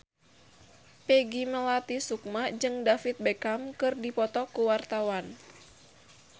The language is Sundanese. Peggy Melati Sukma jeung David Beckham keur dipoto ku wartawan